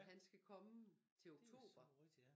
Han skal komme til oktober